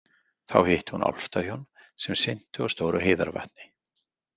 Þá hitti hún álftahjón sem syntu á stóru heiðarvatni.